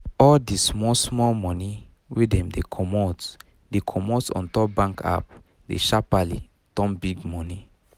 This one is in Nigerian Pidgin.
all d small small money wey dem dey comot dey comot ontop bank app dey sharpaly turn big money